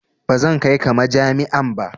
Ba zan kai ka majami'a ba.